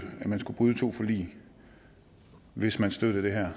at man skulle bryde to forlig hvis man støttede det her